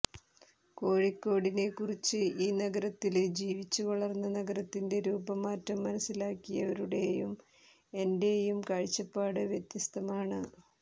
കോഴിക്കോടിനെക്കുറിച്ച് ഈ നഗരത്തില് ജീവിച്ചുവളര്ന്ന നഗരത്തിന്റെ രൂപമാറ്റം മനസ്സിലാക്കിയവരുടെയും എന്റെയും കാഴ്ചപ്പാട് വ്യത്യസ്തമാണ്